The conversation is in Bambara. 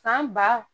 Fan ba